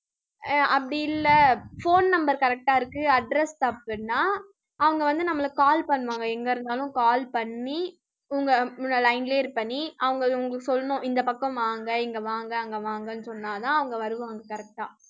அஹ் அப்படி இல்ல phone number correct ஆ இருக்கு address தப்புன்னா, அவங்க வந்து நம்மள call பண்ணுவாங்க. எங்க இருந்தாலும் call பண்ணி, line லயே இருப்ப நீ அவங்க உங்களுக்கு சொல்லணும், இந்தப் பக்கம் வாங்க, இங்க வாங்க அங்க வாங்கன்னு சொன்னாதான் அவங்க வருவாங்க correct ஆ